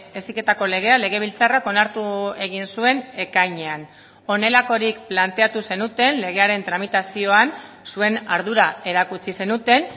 heziketako legea legebiltzarrak onartu egin zuen ekainean honelakorik planteatu zenuten legearen tramitazioan zuen ardura erakutsi zenuten